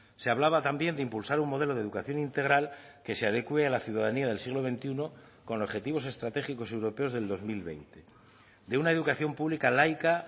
se hablaba también de impulsar un modelo de educación integral que se adecue a la ciudadanía del siglo veintiuno con objetivos estratégicos europeos del dos mil veinte de una educación pública laica